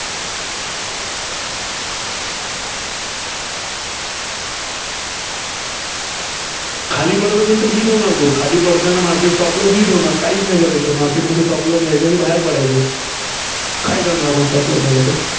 खाली पडत असेल तर hit होणार तो. खाली पडताना market stop loss hit होणार, काहीच नाही करायचं. market stop loss मध्ये घ्यायचा आणि बाहेर पडायचं. काय करणार आपण Stop loss झाला तर.